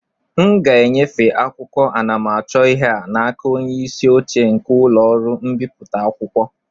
m ga-enyefe akwụkwọ anamachọihe a n'aka onye isi oche nke ụlọ ọrụ mbipụta akwụkwọ